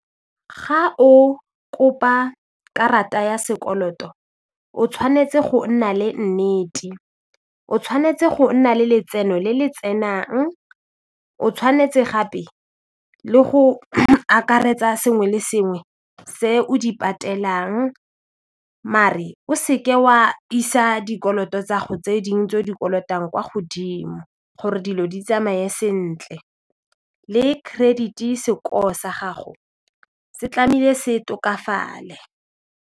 Ga o kopa karata ya sekoloto o tshwanetse go nna le nnete, o tshwanetse go nna le letseno le le tsenang, o tshwanetse gape le go akaretsa sengwe le sengwe se o di patelang maar-e o se ke wa isa dikoloto tsa gago tse dingwe tse o di kolotang kwa godimo gore dilo di tsamaye sentle le credit-i score sa gago se tlame'ile se tokafalale.